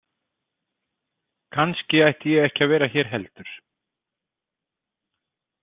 Kannski ætti ég ekki að vera hér heldur.